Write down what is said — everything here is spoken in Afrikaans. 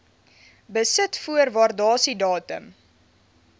besit voor waardasiedatum